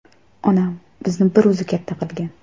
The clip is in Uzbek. Onam bizni bir o‘zi katta qilgan.